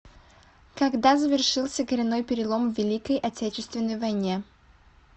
когда завершился коренной перелом в великой отечественной войне